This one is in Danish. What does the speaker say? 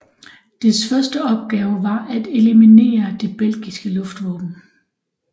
Dets første opgave var at eliminere det belgiske luftvåben